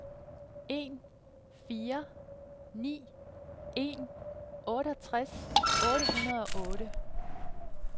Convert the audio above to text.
en fire ni en otteogtres otte hundrede og otte